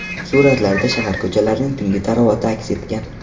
Suratlarda shahar ko‘chalarining tungi tarovati aks etgan.